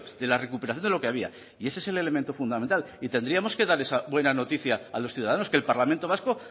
de la recuperación de lo que había y ese es el elemento fundamental y tendríamos que dar esa buena noticia a los ciudadanos que el parlamento vasco